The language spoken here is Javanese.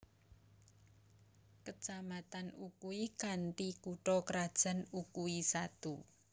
Kecamatan Ukui kanthi kutha krajan Ukui Satu